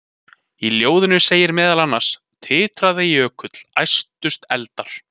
Í ljóðinu segir meðal annars: Titraði jökull, æstust eldar,